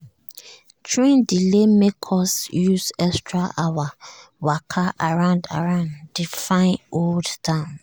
train delay make us use extra hours waka around around di fine old town.